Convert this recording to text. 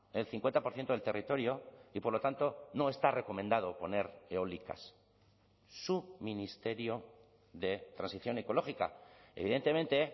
el cincuenta por ciento del territorio y por lo tanto no está recomendado poner eólicas su ministerio de transición ecológica evidentemente